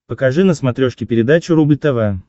покажи на смотрешке передачу рубль тв